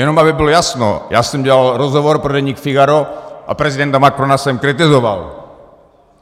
Jenom aby bylo jasno, já jsem dělal rozhovor pro deník Figaro a prezidenta Macrona jsem kritizoval.